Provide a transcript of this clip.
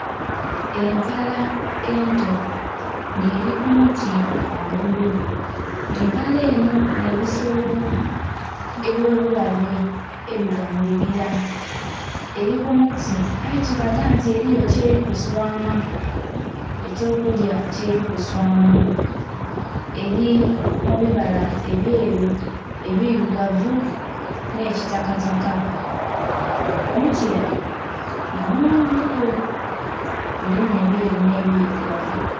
Empala ento nga eri ku muti ghangulu empala enho nhe ebisolo ebyo bulabe ebiba mu bibila, eri ku muti aye kilaga nti eriyo kyeri kuswaama ekyo kulya kyeri kuswaama eri mu bibala ebyeru, ebirugavu nho kitaka taka, omuzila nga mu ghanvu ku gulumubebyeru nhe birugavu .